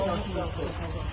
buralara söndürün.